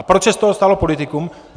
A proč se z toho stalo politikum?